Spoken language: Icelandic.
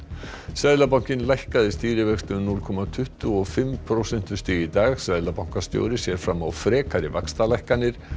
seðlabankinn lækkaði stýrivexti um núll komma tuttugu og fimm prósentustig í dag seðlabankastjóri sér fram á frekari vaxtalækkanir